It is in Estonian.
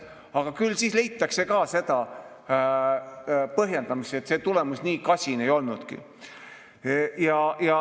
Aga küll siis leitakse ka põhjendusi, et tulemus nii kasin ei olnudki.